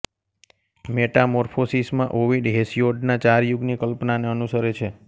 metamorphosis માં Ovid હેસિયોડના ચાર યુગની કલ્પનાને અનુસરે છે